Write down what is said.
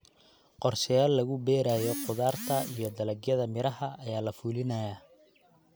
Qorshayaal lagu beerayo khudaarta iyo dalagyada miraha ayaa la fulinayaa.